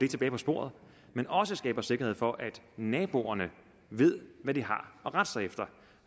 tilbage på sporet men også skaber sikkerhed for at naboerne ved hvad de har at rette sig efter